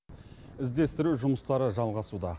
іздестіру жұмыстары жалғасуда